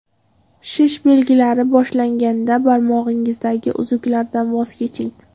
Shish belgilari boshlanganda barmog‘ingizdagi uzuklardan voz keching.